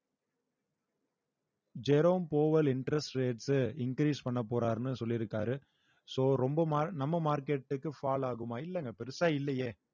Jerome Powell interest rates உ increase பண்ண போறாருன்னு சொல்லிருக்காரு so ரொம்ப mar~ நம்ம market க்கு fall ஆகுமா இல்லைங்க பெருசா இல்லையே